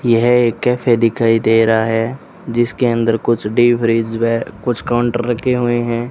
यह एक कॅफे दिखाई दे रहा हैं जिसके अंदर कुछ कुछ काउंटर रखें हुए हैं।